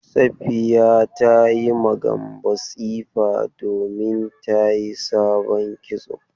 Safiya ta yi ma Gambo tsifa domin ta yi sabon kitso.